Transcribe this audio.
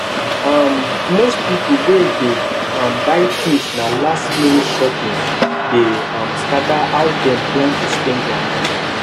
um most people wey dey um buy things na lastminute shopping dey um scatter how dem plan to spend their money